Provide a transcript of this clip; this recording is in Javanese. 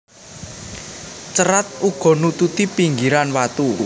Cerat uga nututi pinggiran watu